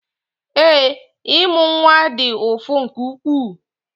Ee, ịmụ nwa dị ụfụ nke ukwuu